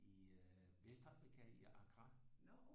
I øh Vestafrika i Accra